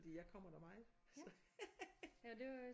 Fordi jeg kommer der meget haha